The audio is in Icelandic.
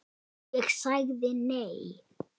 Ég sagði nei.